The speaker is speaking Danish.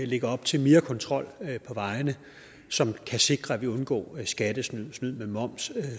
lægger op til mere kontrol på vejene som kan sikre at vi undgår skattesnyd snyd med moms